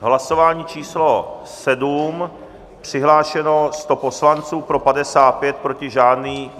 Hlasování číslo 7, přihlášeno 100 poslanců, pro 55, proti žádný.